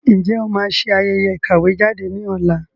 Ǹjẹ́ o máa ṣe ayẹyẹ ìkàwé jáde ní ọ̀la?